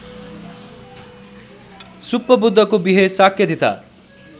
सुप्पबुद्धको विहे शाक्यधीता